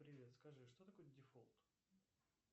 привет скажи что такое дефолт